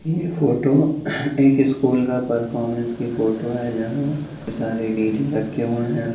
ये फ़ोटो एक स्कूल का परफॉर्मेंस की फ़ोटो है जहाँ सारे डी.जे. रखे हुए हैं।